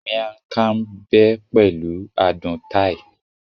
Miang kham bé pẹ̀lú adùn Thai